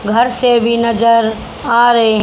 घर से भी नजर आ रहे--